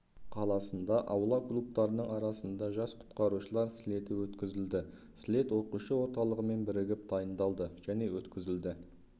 қаласында аула клубтарының арасында жас құтқарушылар слеті өткізілді слет оқушы орталығымен бірігіп дайындалды және өткізілді